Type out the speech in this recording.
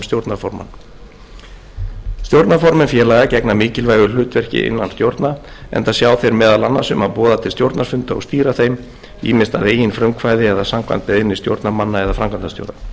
stjórnarformann stjórnarformenn félaga gegna mikilvægu hlutverki innan stjórna enda sjá þeir meðal annars um að boða til stjórnarfunda og stýra þeim ýmist að eigin frumkvæði eða samkvæmt beiðni stjórnarmanna eða framkvæmdastjóra í fyrstu málsgrein